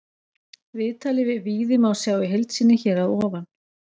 Viðtalið við Víði má sjá í heild sinni hér að ofan.